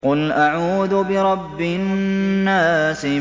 قُلْ أَعُوذُ بِرَبِّ النَّاسِ